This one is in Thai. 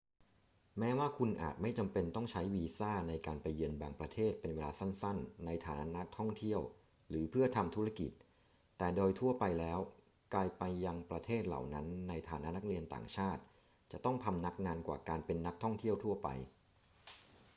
แม้ว่าคุณอาจไม่จำเป็นต้องใช้วีซ่าในการไปเยือนบางประเทศเป็นเวลาสั้น ๆ ในฐานะนักท่องเที่ยวหรือเพื่อทำธุรกิจ แต่โดยทั่วไปแล้วการไปยังประเทศเหล่านั้นในฐานะนักเรียนต่างชาติจะต้องพำนักนานกว่าการเป็นนักท่องเที่ยวทั่วไป